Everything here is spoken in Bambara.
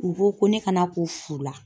U ko ko ne kana ko fu la.